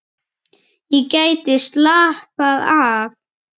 Ég gæti slappað af.